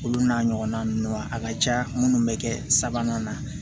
Olu n'a ɲɔgɔnna ninnu ma a ka ca minnu bɛ kɛ sabanan na